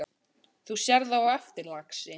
Þú sérð það á eftir, lagsi.